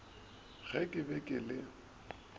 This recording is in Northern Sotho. ge ke be ke le